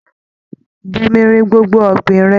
Bomirin gbogbo ọ̀gbìn rẹ!